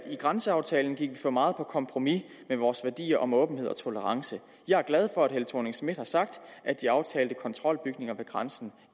i grænseaftalen gik vi for meget på kompromis med vore værdier om åbenhed og tolerance jeg er glad for at helle thorning schmidt har sagt at de aftalte kontrolbygninger ved grænsen